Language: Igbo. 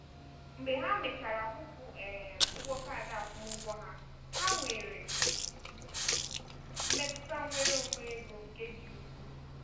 mgbe ha mechara kwụpụ um ụgwọ kaadị akwụmụgwọ ha ha nwere mmetụta nnwere onwe ego nke dị ukwuu.